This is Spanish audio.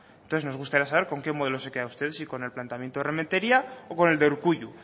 entonces me gustaría saber con qué modelo se queda usted si con el planteamiento de rementeria o con el de urkullu